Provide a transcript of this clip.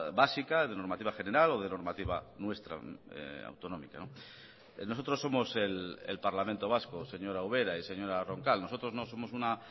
básica de normativa general o de normativa nuestra autonómica nosotros somos el parlamento vasco señora ubera y señora roncal nosotros no somos una